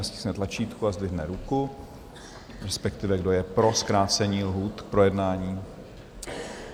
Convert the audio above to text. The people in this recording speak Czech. Ať stiskne tlačítko a zdvihne ruku - respektive kdo je pro zkrácení lhůt k projednání?